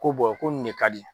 Ko ko nin ne ka di.